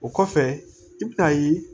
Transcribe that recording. O kɔfɛ i bɛ na ye